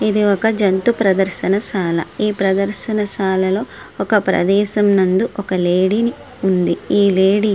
ఒక జంతు ప్రదర్శనశాల. ఈ ప్రదర్శనశాలలో ఒక ప్రదేశం నందు ఒక లేడీనీ ఉంది. ఈ లేడీ--